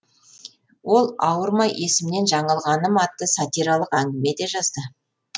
ол ауырмай есімнен жаңылғаным атты сатиралық әңгіме де жазды